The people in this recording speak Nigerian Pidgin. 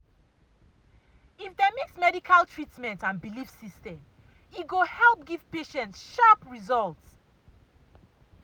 if dem mix medical treatment and belief system — e go help give patients sharp result.